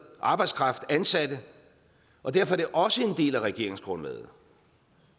arbejdskraft ansatte og derfor er det også en del af regeringsgrundlaget